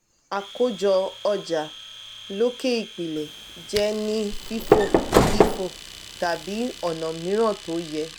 akojo oja loke ipilẹ jẹ ni fifo lifo tàbí ọna miiran tó yẹ.